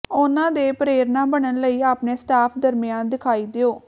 ਉਨ੍ਹਾਂ ਦੇ ਪ੍ਰੇਰਣਾ ਬਣਨ ਲਈ ਆਪਣੇ ਸਟਾਫ ਦਰਮਿਆਨ ਦਿਖਾਈ ਦਿਓ